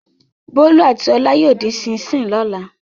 Bólú àti Ọlá yóò dín ṣíín-ṣiìn lọ́la.